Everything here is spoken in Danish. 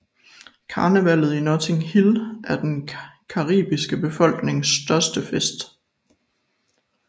Karnevallet i Notting Hill er den caribiske befolknings største fest